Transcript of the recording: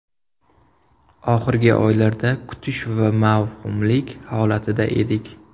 Oxirgi oylarda kutish va mavhumlik holatida edik.